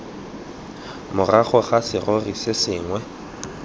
morago ga serori se sengwe